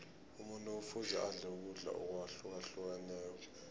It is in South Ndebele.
umuntu kufuze adle ukudla akwahlukahlukeneko